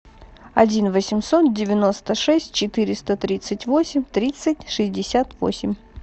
один восемьсот девяносто шесть четыреста тридцать восемь тридцать шестьдесят восемь